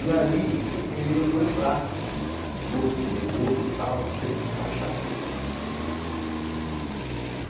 E aí eu queimei os dois braços, todo, queimei o rosto e teve que enfaixar tudo.